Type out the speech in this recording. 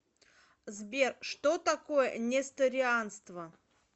сбер что такое несторианство